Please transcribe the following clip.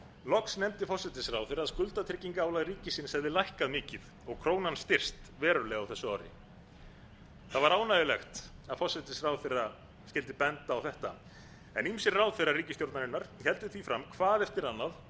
loks nefndi forsætisráðherra að skuldatryggingarálag ríkisins hefði lækkað mikið krónan styrkst verulega á þessu ári það var ánægjulegt að forsætisráðherra skyldi benda á þetta en ýmsir ráðherrar ríkisstjórnarinnar héldu því fram hvað eftir annað